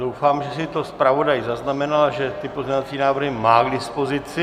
Doufám, že si to zpravodaj zaznamenal, že ty pozměňovací návrhy má k dispozici.